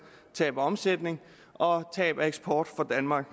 tab af omsætning og tab af eksport for danmark